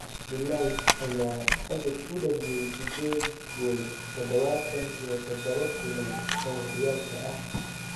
De Ligt ayaa Ajax u dhaliyay sideed gool 77 kulan oo horyaalka ah.